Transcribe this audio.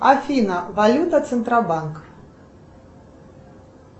афина валюта центробанк